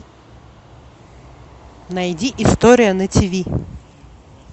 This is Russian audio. найди история на тиви